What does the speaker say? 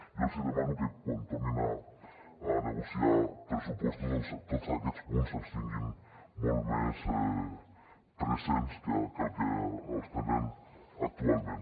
jo els hi demano que quan tornin a negociar pressupostos doncs tots aquests punts els tinguin molt més presents que el que els tenen actualment